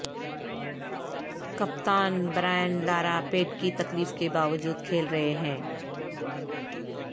کپتان Brian Lara پیٹھ کی تکلیف کے باوجود کھیل رہے ہیں